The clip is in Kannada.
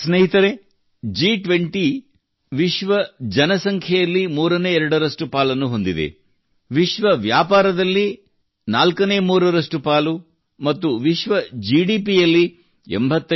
ಸ್ನೇಹಿತರೇ G20 ವಿಶ್ವ ಜನಸಂಖ್ಯೆಯಲ್ಲಿ ಮೂರನೇ ಎರಡರಷ್ಟು ಪಾಲನ್ನು ಹೊಂದಿದೆ ವಿಶ್ವ ವ್ಯಾಪಾರದಲ್ಲಿ ನಾಲ್ಕನೇ ಮುಕ್ಕಾಲು ಪಾಲು ಮತ್ತು ವಿಶ್ವ ಜಿಡಿಪಿಯಲ್ಲಿ ಶೇ